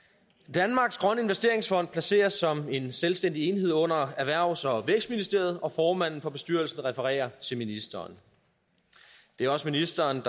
danmarks grønne investeringsfond placeres som en selvstændig enhed under erhvervs og vækstministeriet og formanden for bestyrelsen refererer til ministeren det er også ministeren